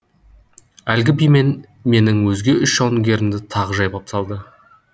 әлгі биімен менің өзге үш жауынгерімді тағы жайпап салды